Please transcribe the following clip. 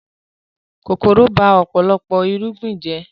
Kòkòrò ba ọ̀pọ̀lọpọ̀ irúgbìn jẹ́